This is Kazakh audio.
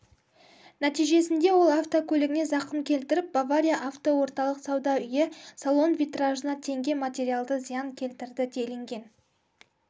нәтижесінде ол автокөлігіне зақым келтіріп бавария автоорталық сауда үйі салон витражына теңге материалды зиян келтірді делінген